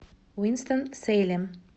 уинстон сейлем